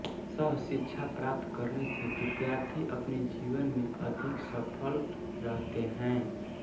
सहशिक्षा प्राप्त करने से विद्यार्थी अपने जीवन में अधिक सफल रहते हैं